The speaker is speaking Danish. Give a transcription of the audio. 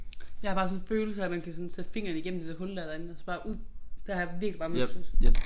Jeg har bare sådan en følelse af at man kan sådan stikke fingeren igennem det der hul der derinde og så bare ud det har jeg virkelig bare min følelse